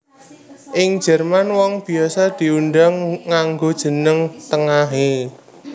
Ing Jerman wong biasa diundang nganggo jeneng tengahé